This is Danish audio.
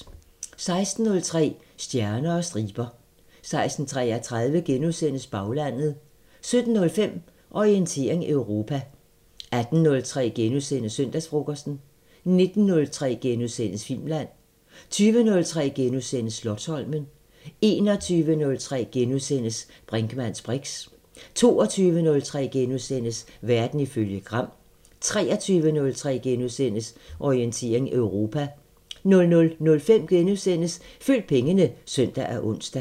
16:03: Stjerner og striber 16:33: Baglandet * 17:05: Orientering Europa 18:03: Søndagsfrokosten * 19:03: Filmland * 20:03: Slotsholmen * 21:03: Brinkmanns briks * 22:03: Verden ifølge Gram * 23:03: Orientering Europa * 00:05: Følg pengene *(søn og ons)